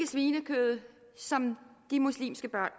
svinekød som de muslimske børn